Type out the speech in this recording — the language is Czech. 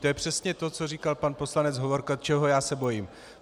To je přesně to, co říkal pan poslanec Hovorka, čeho já se bojím.